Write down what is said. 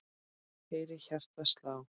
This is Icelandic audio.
heyri hjartað slá.